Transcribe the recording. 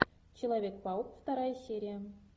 человек паук вторая серия